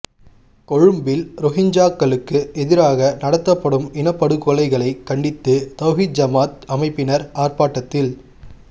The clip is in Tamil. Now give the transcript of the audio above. கொழும்பில் ரோஹிஞ்சாக்களுக்கு எதிராக நடாத்தப்படும் இனப்படுகொலைகளை கண்டித்து தவ்ஹீத் ஜமாஅத் அமைப்பினர் ஆர்ப்பாட்டத்தில்